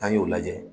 N'an y'o lajɛ